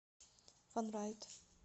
фанрайд